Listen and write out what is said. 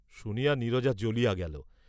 শুনিয়া নীরজা জ্বলিয়া গেল।